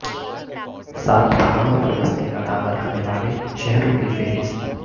سات پہاڑیوں پر بسنے کا دعوی رکھنے والے شہروں کی فہرست